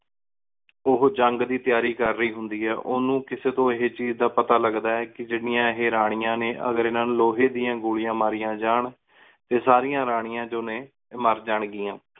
ਉਹੁ ਜੰਗ ਦੀ ਤਯਾਰੀ ਕਰ ਰਹੀ ਹੁੰਦੀ ਆਯ। ਉਨੂ ਕਿਸੀ ਤੂੰ ਏਹੁ ਚੀਜ਼ ਦਾ ਪਤਾ ਲਘਦਾ ਕੀ ਜਿੰਨੀਆਂ ਇਹ ਰਾਣੀਆਂ ਨੇ ਅਗਰ ਇਨਾ ਨੂ ਲੋਹੇ ਦੀ ਗੋਲੀਆਂ ਮਾਰਿਆ ਜਾਣ ਤੇ ਸਾਰਿਆਂ ਰਾਣੀਆਂ ਜੋ ਨੇ ਇਹ ਮਰ ਜਾਣ ਗਿਆ।